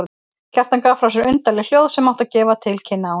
Kjartan gaf frá sér undarleg hljóð sem áttu að gefa til kynna ánægju.